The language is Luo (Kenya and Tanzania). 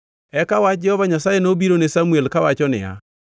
Eka wach Jehova Nyasaye nobiro ne Samuel kawacho niya,